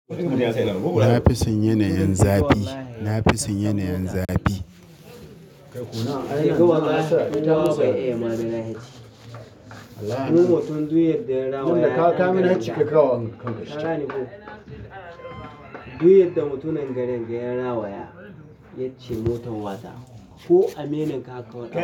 Nafison yanayin zafi. Nafison yanayin zafi. Duk motar duk yadda ya rayu. Duk yadda mutanen garin ga ya rawaya, yace motar wasa. Ko aminin ka kawai.